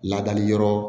Ladali yɔrɔ